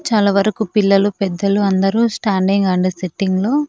చాలా వరకూ పిల్లలు పెద్దలు అందరూ స్టాండింగ్ అండ్ సిట్టింగ్ లో--